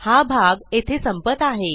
हा भाग येथे संपत आहे